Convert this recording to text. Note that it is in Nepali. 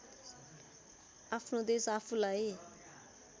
आफ्नो देश आफूलाई